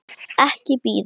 Ekki bíða.